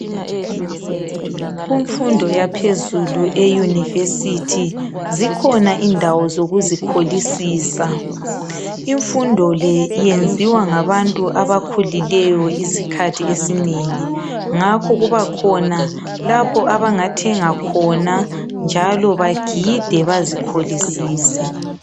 Kumfundo yaphezulu e University zikhona indawo zokuzikholisisa. Imfundo le yenziwa ngabantu abakhulileyo isikhathi esinengi. Ngakho kuba khona lapho abangathenga khona, njalo bagide bazikholisise.